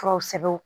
Furaw sɛbɛn